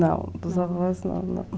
Não, dos avós não, não.